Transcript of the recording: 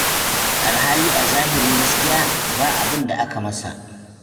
Alhali a zahirin gaskiya ba abin da aka yi masa.